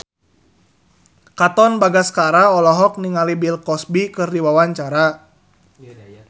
Katon Bagaskara olohok ningali Bill Cosby keur diwawancara